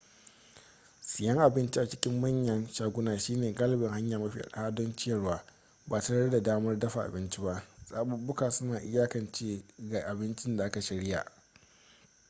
siyan abinci a cikin manyan shaguna shine galibi hanya mafi arha don ciyarwa ba tare da damar dafa abinci ba zaɓuɓɓuka suna iyakance ga abincin da aka shirya